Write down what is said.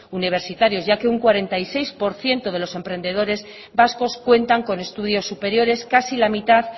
universitarios ya que un cuarenta y seis por ciento de los emprendedores vascos cuentan con estudios superiores casi la mitad